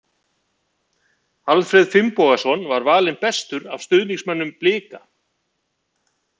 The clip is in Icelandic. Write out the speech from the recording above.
Alfreð Finnbogason var valinn bestur af stuðningsmönnunum Blika.